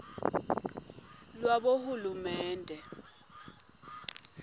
lwabohulumende